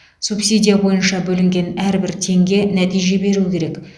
субсидия бойынша бөлінген әрбір теңге нәтиже беру керек